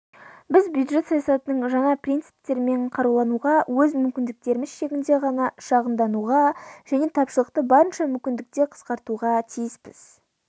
біз бюджет саясатының жаңа принциптерімен қарулануға өз мүмкіндіктеріміз шегінде ғана шығындануға және тапшылықты барынша мүмкіндікте қысқартуға тиіспіз